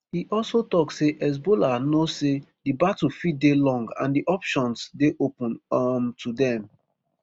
e also tok say hezbollah know say di battle fit dey long and di options dey open um to dem